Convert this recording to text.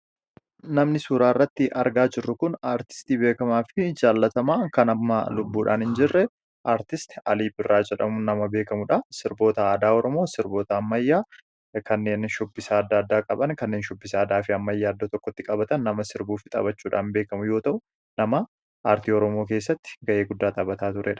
Namni suuraa irratti argaa jirru kun kan amma lubbuudhaan hin jirre artistii beekamaa fi jaallatamaa Alii Birraa jedhama. Sirboota aadaa Oromoo fi sirboota ammayyaa kanneen shubbisa adda addaa qaban kan shubbisa aadaa fi ammayyaa iddoo tokkotti qabatan taphachuudhaan beekamu yoo ta'u, nama aartii Oromoo keessatti gahee guddaa taphachaa turedha.